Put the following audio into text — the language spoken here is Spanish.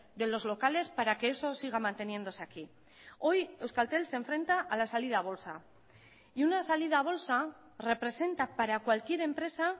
de los locales para que eso siga manteniéndose aquí hoy euskaltel se enfrenta a la salida a bolsa y una salida a bolsa representa para cualquier empresa